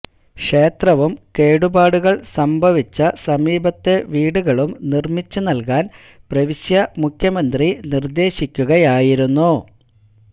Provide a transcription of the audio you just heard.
ക്ഷേത്രവും കേടുപാടുകള് സംഭവിച്ച സമീപത്തെ വീടുകളും നിര്മിച്ച് നല്കാന് പ്രവിശ്യാ മുഖ്യമന്ത്രി നിര്ദേശിക്കുകയായിരുന്നു